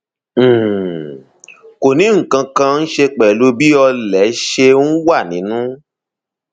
um kò ní nǹkan kan ṣe pẹlú bí ọlẹ ṣe um wà nínú